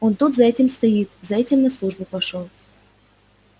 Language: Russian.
он тут за этим стоит за этим на службу пошёл